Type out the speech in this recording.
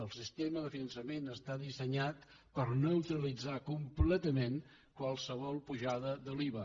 el sistema de finançament està dissenyat per neutralitzar completament qualsevol pujada de l’iva